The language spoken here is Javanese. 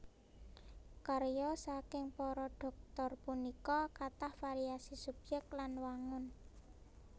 Karya saking para Dhoktor puniki kathah variasi subyèk lan wangun